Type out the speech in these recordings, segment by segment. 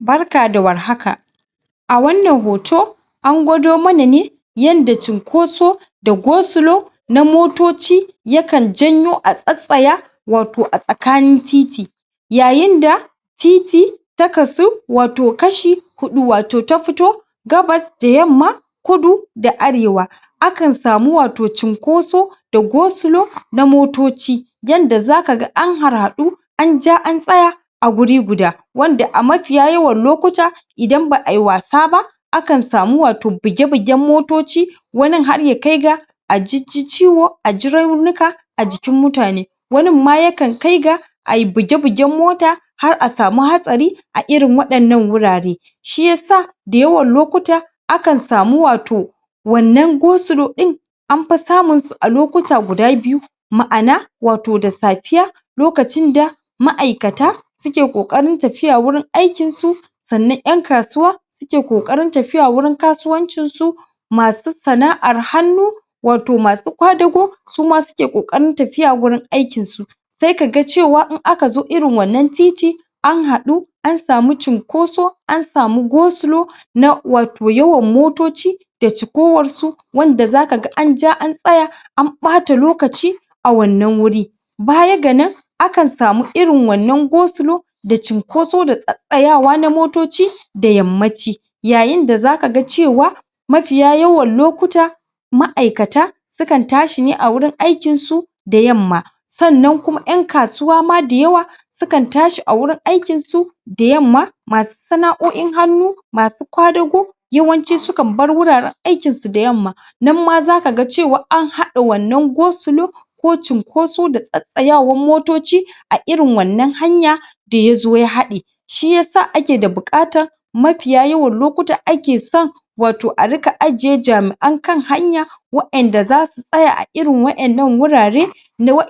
Barka da warhaka a wannan hoto an gwado mana ne yadda cunkosa da go-slow na motoci yakan janyo a tsattsaya wato a tsakanin titi yayin da titi ta kasu wato kashi huɗu, wato ta fito gabas da yamma Kudu da Arewa Akan samu wato cunkoso da go-slow na motoci yanda zaka ga an harhaɗu an ja an tsaya a guri guda wanda a mafiya yawan lokuta idan ba a yi wasa ba akan samu wato buge-bugen motoci wanin har ya kai ga a jijji ciwo a ji raunuka a jikin mutane wanin ma yakan kai ga a yi buge-bugen mota har a samu hatsari a irin waɗannan wurare Shi yasa da yawan lokuta akan samu wato wannan go-slow ɗin an fi samun su a lokuta guda biyu ma’ana, wato da safiya okacin da ma’aikata suke ƙoƙarin tafiya wajen aikinsu sannan ƴan kasuwa suke ƙoƙarin tafiya wajen kasuwancinsu masu sana’ar hannu wato masu kwadago suma suke ƙoƙarin tafiya wajen aikinsu sai kaga cewa in aka zo irin wannan titi an haɗu an samu cunkoso an samu go-slow na wato yawan motoci da cikowarsu wanda zaka ga an ja an tsaya an ɓata lokaci a wannan wuri baya ga nan akan samu irin wannan go-slow da cunkoso da tattsayawa na motoci da yammaci yayin da zaka ga cewa mafiya yawan lokuta ma’aikata sukan tashi ne a wurin aikinsu da yamma sannan kuma ƴan kasuwa ma da yawa sukan tashi a wurin aikinsu da yamma masu sana’o’in hannu masu kwadago yawanci sukan bar wuraren aikinsu da yamma nan ma zaka ga cewa an haɗa wannan go-slow ko cunkoso da tsattsayawan motoci a irin wannan hanya da ya zo ya haɗe shi yasa ake da buƙatan mafiya yawan lokuta ake son wato a riƙa ajiye jami’an kan hanya wa’inda zasu tsaya a irin waɗannan wurare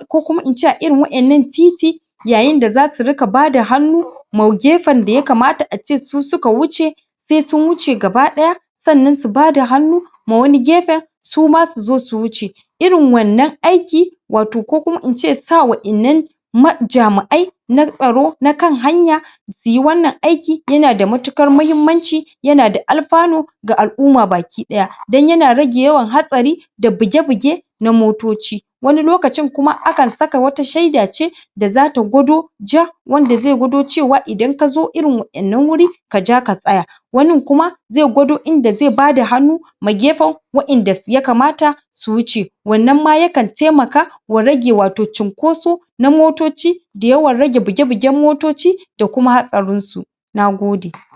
ko kuma in ce a irin wa’innan titi yayin da zasu riƙa bada hannu wa gefen da yakamata a ce su suka wuce sai sun wuce gaba ɗaya sannan su bada hannu ma wani gefen su ma su zo su wuce Irin wannan aiki wato ko kuma in ce sa wa’innan ma jami'ai na tsaro, na kan hanya su yi wannan aiki yana da matuƙar muhimmanci yana da alfanu ga al’umma baki ɗaya, don yana rage yawan hatsari, da buge-buge na motoci wani lokacin kuma akan saka wata shaida ce da zata gwado? wanda zai gwado cewa idan ka zo irin wa’innan wuri ka ja ka tsaya wanin kuma zai gwado inda zai bada hannu ma gefen wa’inda ya kamata su wuce wannan ma yakan taimaka wa rage wato cunkosa na motoci da yawan rage buge-bugen motoci da kuma hatsarinsu Nagode